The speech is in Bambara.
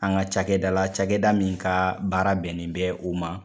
An ka cakɛda la cakɛda min ka baara bɛnnen bɛ o ma